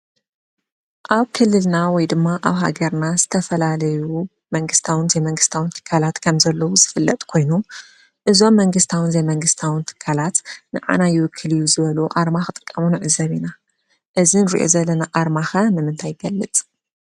ኣብ ክልልና ወይ ድማ ኣብ ሃገርና ዝተፈላለዩ መንግስታውን ዘይመንግስታውን ትካላት ከምዘለዉ ዝፍለጥ ኮይኑ እዞም መንግስታውን ዘይመንግስታውን ትካላት ንዓና ይውክል እዩ ዝበልዎ ኣርማ ክጥቀሙ ንዕዘብ ኢና፡፡ እዚ ንሪኦ ዘለና ኣርማ ኸ ንምንታይ ይገልፅ?